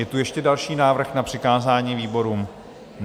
Je tu ještě další návrh na přikázání výborům?